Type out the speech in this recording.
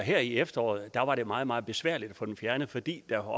her i efteråret meget meget besværligt at få dem fjernet fordi der